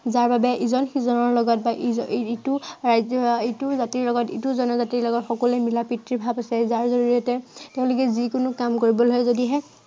যাৰ বাবে ইজন সিজনৰ লগত বা ইটো ৰাজ্য়ৰ লগত ইটো জাতিৰ লগত, ইটো জনজাতিৰ লগত সকলোৱে মিলাপ্ৰীতিৰ ভাৱ আছে। যাৰ জড়িয়তে তেওঁলোকে যিকোনো কাম কৰিবলে যদিহে